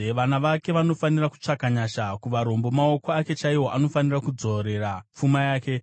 Vana vake vanofanira kutsvaka nyasha kuvarombo; maoko ake chaiwo anofanira kudzorera pfuma yake.